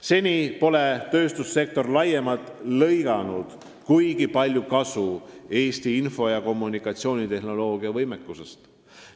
Seni pole tööstussektor laiemalt lõiganud kuigi palju kasu Eesti info- ja kommunikatsioonitehnoloogia võimekusest.